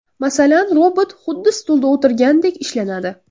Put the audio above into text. Masalan, robot xuddi stulda o‘tirgandek ishlanadi.